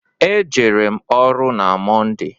E jere m ọrụ na Mọnde.